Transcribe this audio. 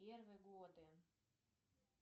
первые годы